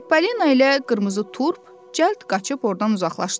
Çipolino ilə qırmızı turp cəld qaçıb ordan uzaqlaşdılar.